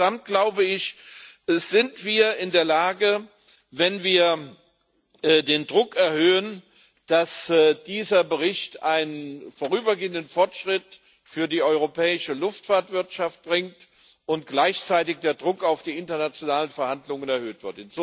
Aber wenn wir den Druck erhöhen, kann dieser Bericht einen vorübergehenden Fortschritt für die europäische Luftfahrtwirtschaft bringen und gleichzeitig wird der Druck auf die internationalen Verhandlungen erhöht.